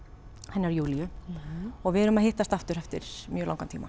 hennar Júlíu og við erum að hittast aftur eftir mjög langan tíma